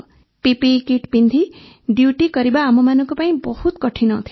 PPE kit ପିନ୍ଧି duty କରିବା ଆମମାନଙ୍କ ପାଇଁ ବହୁତ କଠିନ ଥିଲା